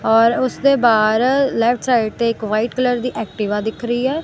ਔਰ ਉਸਦੇ ਬਾਅਦ ਲੈਫਟ ਸਾਈਡ ਤੇ ਇਕ ਵਾਈਟ ਕਲਰ ਦੀ ਐਕਟੀਵਾ ਦਿਖ ਰਹੀ ਐ।